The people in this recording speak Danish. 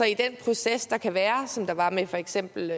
i den proces der kan være som der var med for eksempel